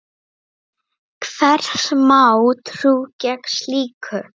Hvers má trú gegn slíku?